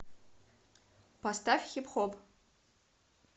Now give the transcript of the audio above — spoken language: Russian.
поставь хип хоп